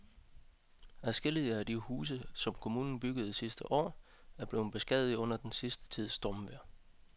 Adskillige af de huse, som kommunen byggede sidste år, er blevet beskadiget under den sidste tids stormvejr.